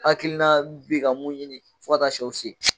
Ha hakilina bi ka mun ɲini fo ka taw sɛw se